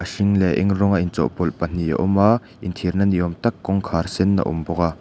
a hring leh a eng rawng a inchawhpawlh pahnih a awm a inthiar na ni awm tak kawngkhar sen a awm bawk a.